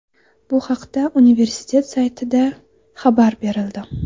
Bu haqda universtitet saytida xabar berildi .